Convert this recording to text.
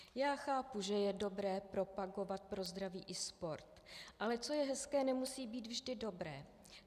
Já chápu, že je dobré propagovat pro zdraví i sport, ale co je hezké, nemusí být vždy dobré.